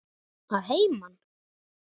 Að heiman?